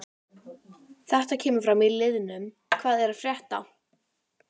Þetta kemur fram í liðnum hvað er að frétta?